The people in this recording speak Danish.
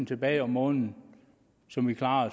tilbage om måneden som vi klarede